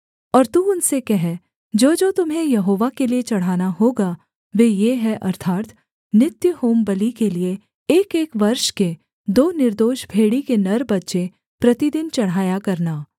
और तू उनसे कह जोजो तुम्हें यहोवा के लिये चढ़ाना होगा वे ये हैं अर्थात् नित्य होमबलि के लिये एकएक वर्ष के दो निर्दोष भेड़ी के नर बच्चे प्रतिदिन चढ़ाया करना